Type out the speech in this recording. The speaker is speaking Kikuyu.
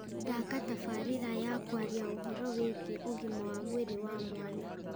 thaaka tabarira ya kwaria ũhoro wigiĩ ũgima wa mwĩrĩ wa mwana